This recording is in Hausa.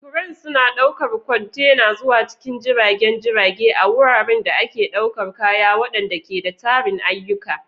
Cranes suna ɗaukar kwantena zuwa cikin jiragen jirage a wuraren da ake ɗaukar kaya, waɗanda ke da tarin ayyuka.